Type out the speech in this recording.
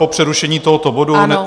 Po přerušení tohoto bodu.